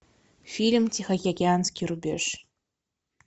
фильм тихоокеанский рубеж